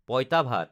পঁইতা ভাত